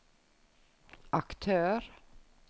aktør